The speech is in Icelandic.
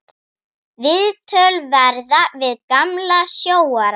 Viðtöl verða við gamla sjóara.